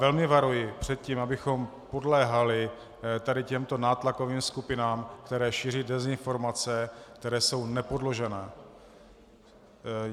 Velmi varuji před tím, abychom podléhali tady těmto nátlakovým skupinám, které šíří dezinformace, které jsou nepodložené.